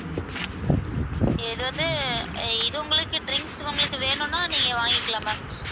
இது வந்து இது உங்களுக்கு drinks உங்களுக்கு வேணுன்னா நீங்க வாங்கிக்கலாம் ma'am